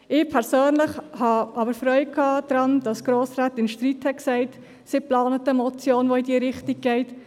Ich persönlich habe aber Freude daran gehabt, dass Grossrätin Streit gesagt hat, sie plane eine Motion, welche in diese Richtung gehe.